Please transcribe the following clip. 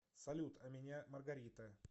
салют а меня маргарита